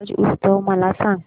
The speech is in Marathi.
ब्रज उत्सव मला सांग